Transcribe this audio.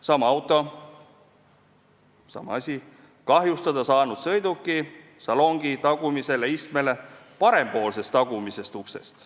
Sama auto, sama vaade kahjustada saanud sõiduki salongi tagumisele istmele parempoolsest tagumisest uksest.